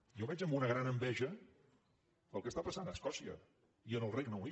jo veig amb una gran enveja el que està passant a escòcia i en el regne unit